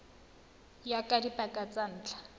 ya ka dipaka tsa ntlha